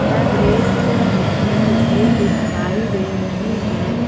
यह दृश्य में एक झील दिखाई दे रही है।